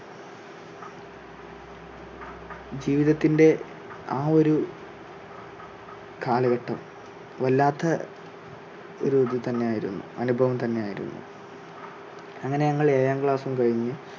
ജീവിതത്തിന്റെ ആ ഒരു കാലഘട്ടം വല്ലാത്ത ഒരു ഇത് തന്നെ ആയിരുന്നു അനുഭവം തന്നെ ആയിരുന്നു. അങ്ങനെ ഞങ്ങൾ ഏഴാം class ും കഴിഞ്ഞ്,